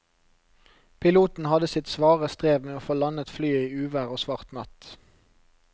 Piloten hadde sitt svare strev med å få landet flyet i uvær og svart natt.